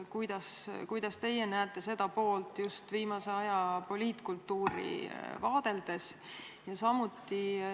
Kuidas teie näete seda poolt just viimase aja poliitkultuuri vaadeldes?